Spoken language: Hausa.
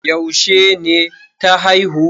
Yaushe ne ta haihu?